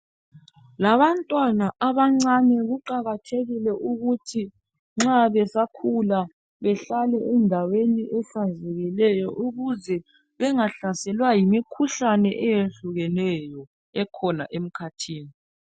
Labantwana abancane kuqakathekile ukuthi nxa besakhula behlale endaweni ehlanzekileyo ukuze bengahlaselwa yimikhuhlane eyehlukeneyo ekhona emkhathini.